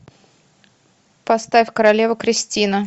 поставь королева кристина